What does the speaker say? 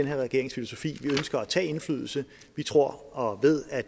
her regerings filosofi vi ønsker at tage indflydelse vi tror og ved at